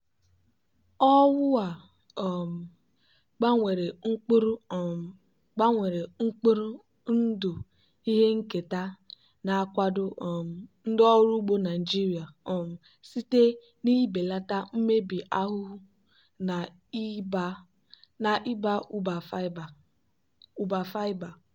owu a um gbanwere mkpụrụ um gbanwere mkpụrụ ndụ ihe nketa na-akwado um ndị ọrụ ugbo naijiria um site n'ibelata mmebi ahụhụ na ịba ụba fiber.